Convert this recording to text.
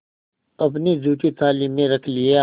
अपनी जूठी थाली में रख लिया